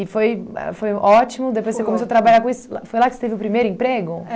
E foi ma foi ótimo, depois você começou a trabalhar com isso, foi lá que você teve o primeiro emprego?